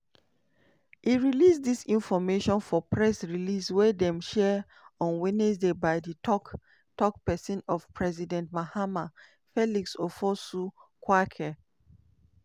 e release dis informate for press release wey dem share on wednesday by di tok-tok pesin of president mahama felix ofosu kwakye.